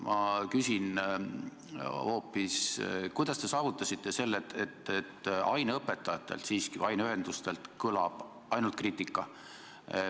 Ma küsin hoopis seda, et kuidas te saavutasite olukorra, et aineõpetajatelt või aineühendustelt kõlab ainult kriitikat.